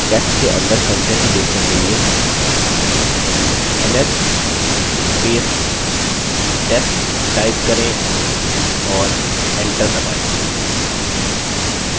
test के अंदर contents देखने के लिए ls test type करें और enter दबायें